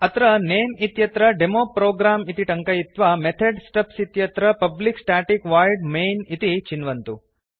अत्र नमे इत्यत्र डेमोप्रोग्राम् इति टङ्कयित्वा मेथेड् स्टब्स् इत्यत्र पब्लिक स्टेटिक वोइड् मैन् इति चिन्वन्तु